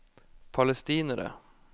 palestinere